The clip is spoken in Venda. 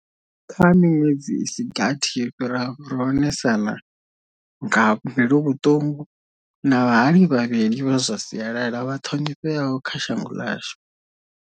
Kha miṅwedzi i si gathi yo fhiraho ro onesana nga mbiluvhuṱungu na vha hali vhavhili vha zwa si alala vha ṱhonifheaho kha shango ḽashu.